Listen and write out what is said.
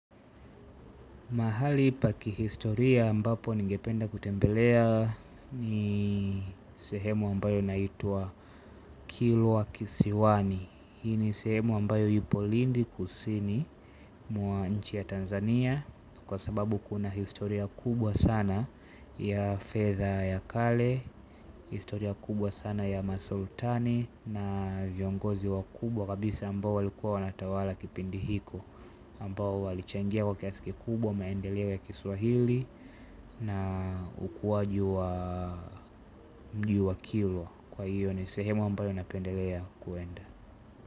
Mahali pa kihistoria ambapo ningependa kutembelea ni sehemu ambayo inaitwa kilwa kisiwani. Hii ni sehemu ambayo ipo lindi kusini mwa nchi ya Tanzania. Kwa sababu kuna historia kubwa sana ya fedha ya kale, historia kubwa sana ya masultani na viongozi wakubwa kabisa ambao walikuwa wanatawala kipindi hiko ambao walichangia kwa kiasi kikubwa, maendeleo ya kiswahili. Na ukuwaji wa mjii huo wa kilwa kwa hiyo ni sehemu ambayo napendelea kuenda.